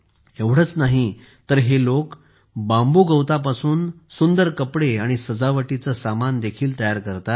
एवढेच नाही तर हे लोक बांबू गवतापासून सुंदर कपडे आणि सजावटीचे सामान देखील तयार करतात